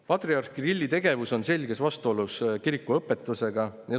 Patriarh Kirilli tegevus on selges vastuolus kiriku õpetusega.